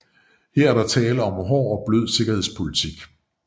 Her er der tale om hård og blød sikkerhedspolitik